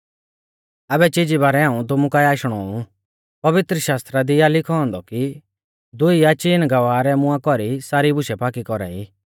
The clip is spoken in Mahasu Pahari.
आबै चीजी बारै हाऊं तुमु काऐ आशणौ ऊ पवित्रशास्त्रा दी आ लिखौ औन्दौ कि दुई या चीन गवाह रै मुंआ कौरी सारी बुशै पाकी कौरा ई